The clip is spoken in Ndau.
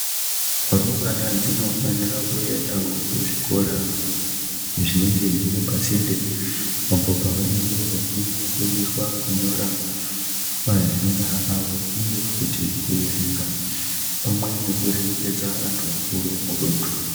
Rumbwana dsinofanira kuendawo kuzvikora zvinenge zviri pasinde apo pavanenge vechinofundiswe kunyora mazina avo uye kuti kuerenga pamwe nekuremekedza vantu vakuru mudundu.